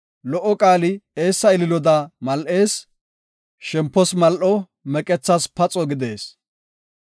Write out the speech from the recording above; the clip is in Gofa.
Lo77o qaali eessa ililoda mal7ees; shempos mal7o; meqethas paxo gidees.